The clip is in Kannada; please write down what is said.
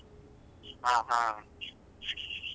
ಹ ಹಾ.